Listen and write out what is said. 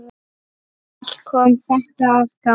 Allt kom þetta að gagni.